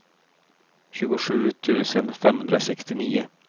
tjugosju tusen femhundrasextionio